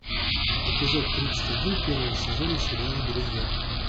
эпизод тридцать один первого сезона сериала друзья